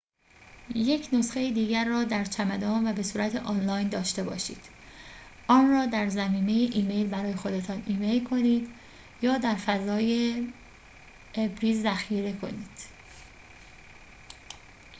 یک نسخه دیگر را در چمدان و بصورت آنلاین داشته باشید آن را در ضمیمه ایمیل برای خودتان ایمیل کنید، یا در فضای «ابری» ذخیره کنید